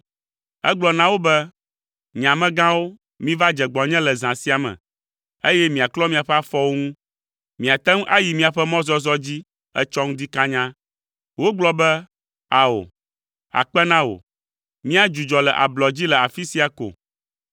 Egblɔ na wo be, “Nye amegãwo, miva dze gbɔnye le zã sia me, eye miaklɔ miaƒe afɔwo ŋu. Miate ŋu ayi miaƒe mɔzɔzɔ dzi etsɔ ŋdi kanya.” Wogblɔ be, “Ao, akpe na wò, míadzudzɔ le ablɔ dzi le afi sia ko.”